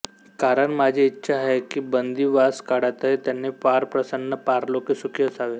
कारण माझी इच्छा आहे की बंदिवासकाळातही त्यांनी पारप्रसन्न पारलोकी सुखी असावे